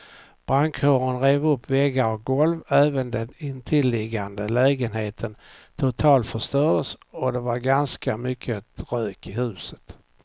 Brandkåren rev upp väggar och golv, även den intilliggande lägenheten totalförstördes och det var ganska mycket rök i huset.